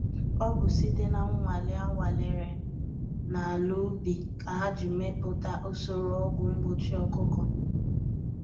Ọ bụ site na nnwale a nwalere na ala ubi ka ha ji meputa usoro ọgwu mgbochi ọkụkọ